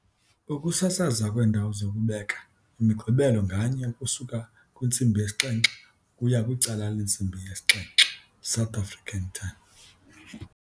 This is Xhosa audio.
Ukusasazwa kweendawo zokubeka iMigqibelo nganye ukusuka kwi-19:00 ukuya ku-19:30 SAT.